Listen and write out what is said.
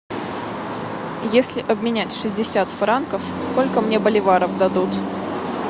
если обменять шестьдесят франков сколько мне боливаров дадут